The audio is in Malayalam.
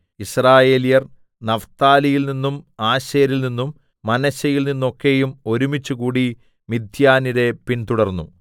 യിസ്രായേല്യർ നഫ്താലിയിൽനിന്നും ആശേരിൽനിന്നും മനശ്ശെയിൽനിന്നൊക്കെയും ഒരുമിച്ചുകൂടി മിദ്യാന്യരെ പിന്തുടർന്നു